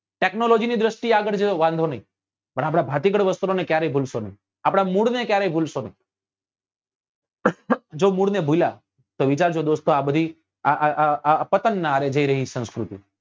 Technology ની દ્રષ્ટિ એ આગળ જાસો તો વાંધો નહિ પણ આપડા ભાતીગળ વસ્ત્રો ને ક્યારે ભૂલશો નહિ આપડા મૂળ ને ક્યારેય ભૂલશો નહી જો મૂળ ને ભૂલ્યા તો વિચારજો દોસ્તો આ બધી આ આં આં પતંગ નાં હારે જઈ રહી સંસ્કૃતિ